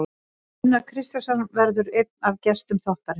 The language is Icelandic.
Gunnar Kristjánsson verður einn af gestum þáttarins.